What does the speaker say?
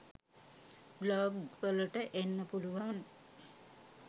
Blog වලට එන්න පුළුවන්.